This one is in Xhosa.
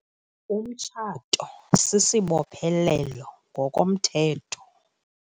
Umtshato sisibophelelo ngokomthetho.